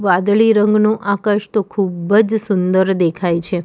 વાદળી રંગનું આકાશ તો ખૂબ જ સુંદર દેખાય છે.